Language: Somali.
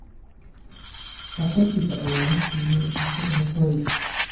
Qaxootiga ayaa la siiyay cunto iyo hoy.